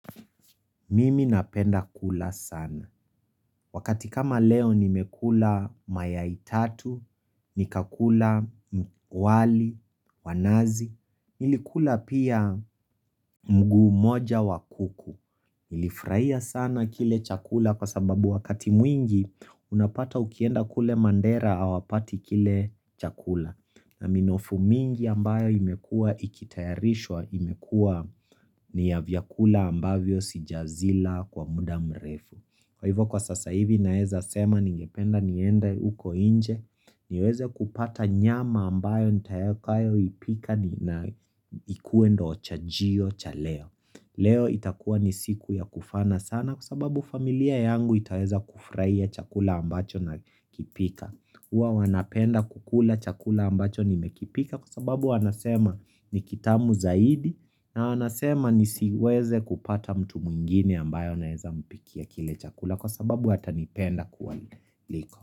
Mimi napenda kula sana. Wakati kama leo nimekula mayai tatu, nikakula wali, wa nazi. Nilikula pia mguu moja wa kuku. Nilifurahia sana kile chakula kwa sababu wakati mwingi unapata ukienda kule Mandera hawapati kile chakula. Na minofu mingi ambayo imekua ikitayarishwa imekuwa ni ya vyakula ambavyo sijazila kwa muda mrefu Kwa hivyo kwa sasa hivi naeza sema ningependa niende uko inje niweze kupata nyama ambayo nitakayo ipika na ikuwe ndio chajio cha leo Leo itakuwa ni siku ya kufana sana kwa sababu familia yangu itaweza kufurahia chakula ambacho na kipika huwa wanapenda kukula chakula ambacho nimekipika kwa sababu wanasema ni kitamu zaidi na wanasema nisiweze kupata mtu mwingine ambaye naweza mpikia kile chakula kwa sababu watanipenda kuwaliko.